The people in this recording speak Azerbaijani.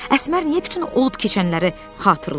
Əsmər niyə bütün olub keçənləri xatırlayır?